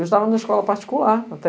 Eu estava na escola particular até.